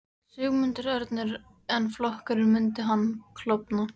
Sigmundur Ernir: En flokkurinn, myndi hann klofna?